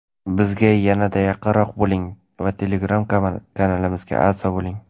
Bizga yanada yaqinroq bo‘ling va telegram kanalimizga obuna bo‘ling!.